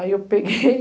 Aí eu peguei.